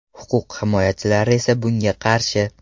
Huquq himoyachilari esa bunga qarshi.